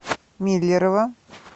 миллерово